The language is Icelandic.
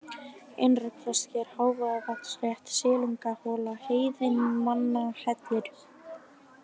Innra-Prestsker, Hávaðavatnsrétt, Silungahola, Heiðinnamannahellir